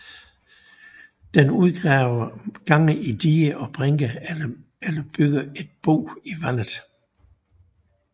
Den udgraver gange i diger og brinker eller bygger et bo i vandet